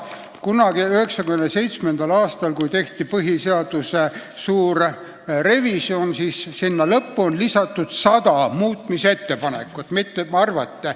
1997. aastal, kui sai valmis põhiseaduse suur revisjon, lisati sinna lõppu 100 muutmisettepanekut koostajatelt ja ekspertidelt.